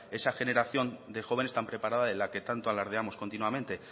esa generación de jóvenes tan preparada de la que tanto alardeamos continuamente